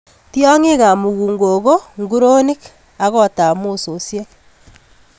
Tiongikab mukunkok ko nguronik ak kotab mososiek.